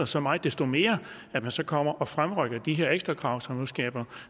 så meget desto mere at man så kommer og fremrykker de her ekstrakrav som nu skaber